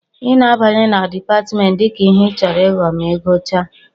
ị na-abanye na Dipatmentị dịka ihe ịchọrọ ịghọ ma ị gụchaa